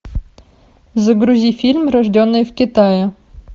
загрузи фильм рожденные в китае